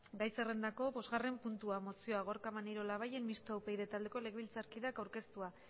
gai zerrendako bosgarren puntua mozioa gorka maneiro labayen mistoa upyd taldeko legebiltzarkideak aurkeztua